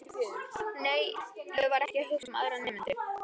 Nei, ég var ekki að hugsa um aðra nemendur.